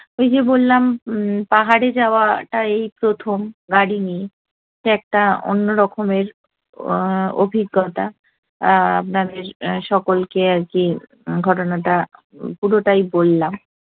ওই যে বললাম উম পাহাড়ে যাওয়াটা এই প্রথম গাড়ি নিয়ে, এটা একটা অন্য রকমের অভিজ্ঞতা। আপনাদের সকলকে আর কী ঘটনা টা পুরোটাই বললাম।